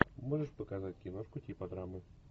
можешь показать киношку типа драмы